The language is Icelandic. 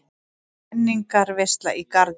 Menningarveisla í Garði